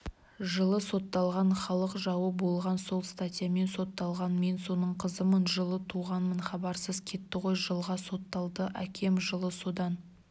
жылы сотталған халық жауы болған сол статьямен сотталған мен соның қызымын жылы туғанмын хабарсыз кетті ғой жылға сотталды әкем жылы содан